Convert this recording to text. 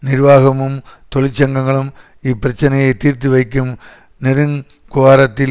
நிர்வாகமும் தொழிற்சங்கங்களும் இப்பிரச்சனையை தீர்த்துவைக்கும் நெருக் குவாரத்தில்